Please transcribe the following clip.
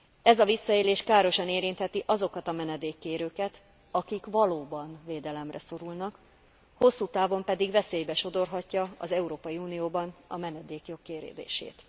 Ez a visszaélés károsan érintheti azokat a menedékkérőket, akik valóban védelemre szorulnak, hosszú távon pedig veszélybe sodorhatja az Európai Unióban a menedékjog kérdését.